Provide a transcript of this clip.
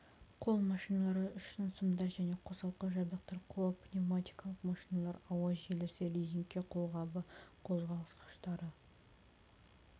қол машиналары үшін сымдар және қосалқы жабдықтар қол пневматикалық машиналар ауа желісі резеңке қолғабы қозғалтқыштары